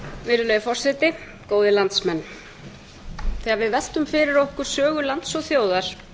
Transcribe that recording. virðulegi forseti góðir landsmenn þegar við veltum fyrir okkur sögu lands og þjóðar